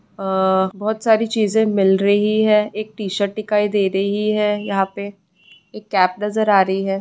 अ-अ बहुत सारी चीजे मिल रही है एक टीशर्ट दिखाई दे रही है यहां पे एक कैप नजर आ रही है।